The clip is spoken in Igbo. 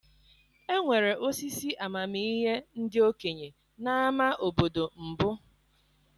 Enwere osisi amamihe ndị okenye n'ámá obodo mbụ.